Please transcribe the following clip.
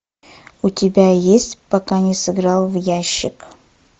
у тебя есть пока не сыграл в ящик